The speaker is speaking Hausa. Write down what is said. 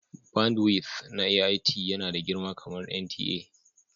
bandwidth na AIT yana da girma kamar NTA